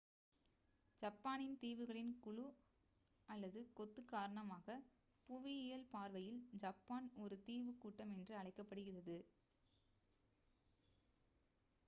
ஜப்பானின் தீவுகளின் குழு / கொத்து காரணமாக புவியியல் பார்வையில் ஜப்பான் ஒரு தீவுக் கூட்டம் என்று அழைக்கப் படுகிறது